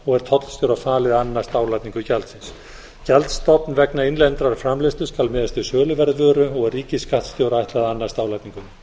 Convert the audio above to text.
og er tollstjóra falið að annast álagningu gjaldsins gjaldstofn vegna innlendrar framleiðslu skal miðast við söluverð vöru og er ríkisskattstjóra ætlað að annast álagninguna